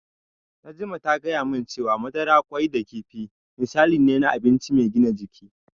Najma ta gaya min cewa madara, ƙwai da kifi misali ne na abinci mai gina jiki.